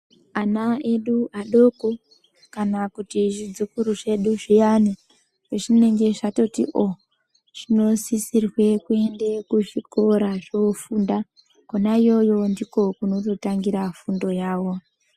Ana edu adoko kana kuti zvidzikuru zvedu zviyani pezvinenge zvatoti o zvinosisirwe kuende kuzvikora zvofunda kona iyoyo ndiko kunototangira fundo yawo.